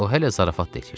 O hələ zarafat da edirdi.